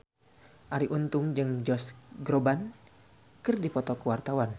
Arie Untung jeung Josh Groban keur dipoto ku wartawan